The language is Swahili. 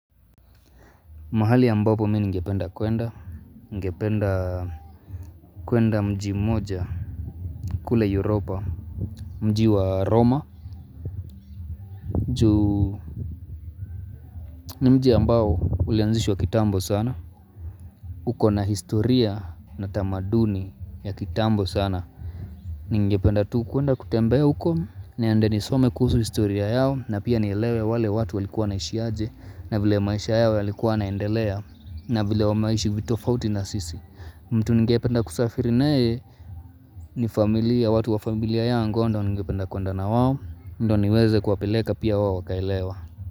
Mahali ambapo mimi ningependa kwenda, ngependa kwenda mji mmoja, kule Europa, mji wa Roma Ju, ni mji ambao ulianzishwa kitambo sana uko na historia na tamaduni ya kitambo sana Ningependa tu kwenda kutembea uko, niende nisome kuhusu historia yao na pia ni elewe wale watu walikuwa naishi aje, na vile maisha yao yalikuwa yanaendelea na vile wamaishi vitofauti na sisi mtu ningependa kusafiri naye ni familia, watu wa familia yangu hao ndo ningependa kuenda na wao ndo niweze kuapeleka pia wawo wakaelewa.